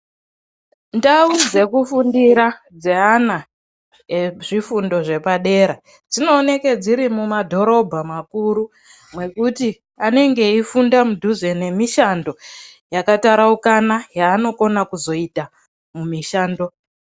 Ndau dzekufundira dzeana ezvifundo zvepa dera dzinooneke dziri mumadhorobha makuru mwekuti anenge eifunda mudhuze nemishando yakataraukana yaanokona kuzoita mumishando.